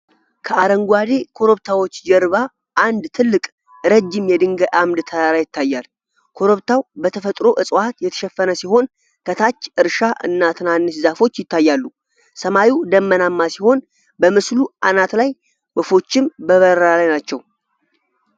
ከአረንጓዴ ኮረብታዎች ጀርባ አንድ ትልቅ፣ ረጅም የድንጋይ አምድ ተራራ ይታያል። ኮረብታው በተፈጥሮ እፅዋት የተሸፈነ ሲሆን ከታች እርሻ እና ትናንሽ ዛፎች ይታያሉ። ሰማዩ ደመናማ ሲሆን በምስሉ አናት ላይ ወፎችም በበረራ ላይ ናቸው።